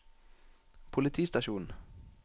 politistasjon